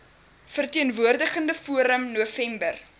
verteenwoordigende forum november